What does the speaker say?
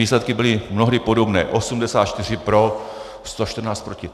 Výsledky byly mnohdy podobné, 84 pro, 114 proti.